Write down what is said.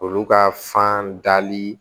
Olu ka fan dali